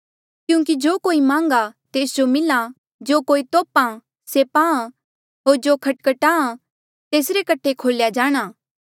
क्यूंकि जो कोई मांघ्हा तेस जो मिल्हा होर जो तोप्हा से पाहां होर जो खटखटाहां तेसरे कठे खोल्या जाणा